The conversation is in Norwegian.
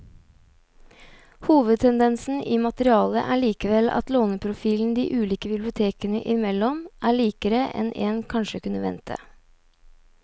Hovedtendensen i materialet er likevel at låneprofilen de ulike bibliotekene imellom er likere enn en kanskje kunne vente.